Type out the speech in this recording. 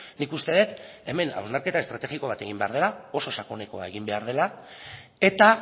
nik uste dut hemen hausnarketa estrategiko bat egin behar dela oso sakonekoa egin behar dela eta